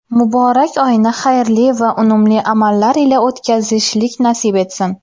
Muborak oyni xayrli va unumli amallar ila o‘tkazishlik nasib qilsin.